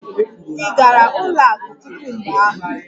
Ị gara ụlọ akụ tupu mgbe ahụ?